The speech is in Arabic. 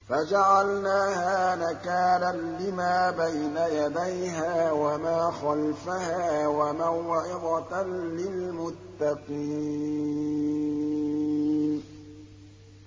فَجَعَلْنَاهَا نَكَالًا لِّمَا بَيْنَ يَدَيْهَا وَمَا خَلْفَهَا وَمَوْعِظَةً لِّلْمُتَّقِينَ